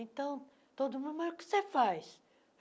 Então, todo mundo, mas o que você faz?